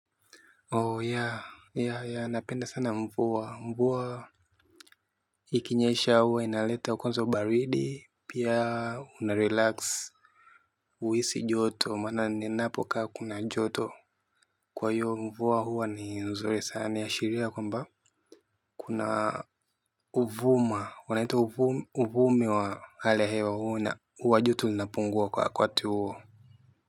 Oh ya ya ya napenda sana mvua mvua. Ikinyesha huwa inaleta kwanza ubaridi pia unarelax. Uhisi joto maana ninapokaa kuna joto. Kwa hiyo mvua huwa ni nzuri sana inaashiria kwamba kuna uvuma unaitwa uvume wa hali ya hewa huwa joto linapungua kwa wakati huo.